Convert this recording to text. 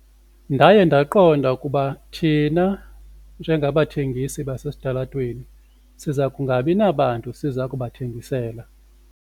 Ndaye ndaqonda ukuba thina njengabathengisi basesitalatweni siza kungabi nabantu siza kubathengisela.